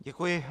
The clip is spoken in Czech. Děkuji.